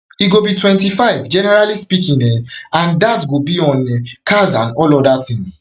e go be twenty-five generally speaking um and dat and dat go be on um cars and all oda tins